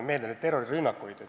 Pean silmas neid terrorirünnakuid.